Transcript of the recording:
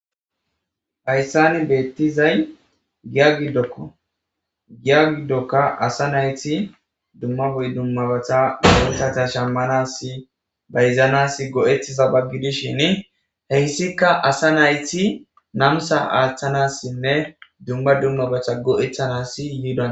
Hassan beettizay giya giddoko .Giya giddonka asa nayti dumma dummabata muruutata shammanassi bayzanassi go7ettizaba gidishin ,hessika asa nayti namisa aaththanasinne dumma dummabata go7ettanassi yida.